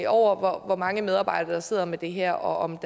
over hvor mange medarbejdere der sidder med det her og om